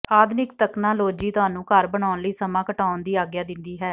ਆਧੁਨਿਕ ਤਕਨਾਲੋਜੀ ਤੁਹਾਨੂੰ ਘਰ ਬਣਾਉਣ ਲਈ ਸਮਾਂ ਘਟਾਉਣ ਦੀ ਆਗਿਆ ਦਿੰਦੀ ਹੈ